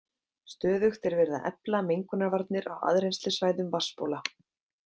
Stöðugt er verið að efla mengunarvarnir á aðrennslissvæðum vatnsbóla.